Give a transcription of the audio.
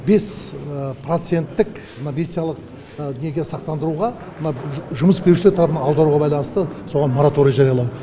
бес проценттік мына медициналық неге сақтандыруға мына жұмыс берушілер тарапынан аударуға байланысты соған мораторий жариялау